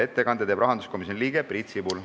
Ettekande teeb rahanduskomisjoni liige Priit Sibul.